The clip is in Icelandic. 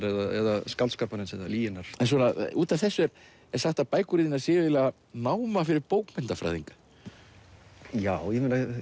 eða skáldskaparins eða lyginnar en út af þessu er sagt að bækur þínar séu eiginlega náma fyrir bókmenntafræðinga já